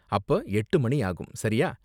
அப்ப எட்டு மணி ஆகும், சரியா?